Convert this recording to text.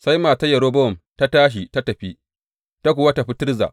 Sai matar Yerobowam ta tashi ta tafi, ta kuwa tafi Tirza.